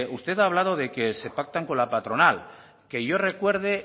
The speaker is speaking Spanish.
usted ha hablado de que se pactan con la patronal que yo recuerde